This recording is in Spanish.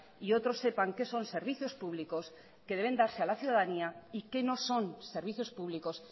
y otros sepan qué son servicios públicos que deben darse a la ciudadanía y qué no son servicios públicos